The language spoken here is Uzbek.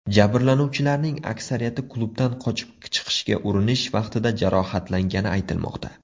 Jabrlanuvchilarning aksariyati klubdan qochib chiqishga urinish vaqtida jarohatlangani aytilmoqda.